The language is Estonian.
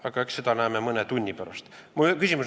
Aga eks me seda näeme mõne tunni pärast.